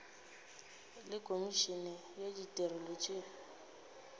le komišene ya ditirelo tša